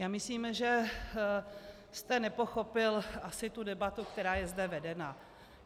Já myslím, že jste nepochopil asi tu debatu, která je zde vedena.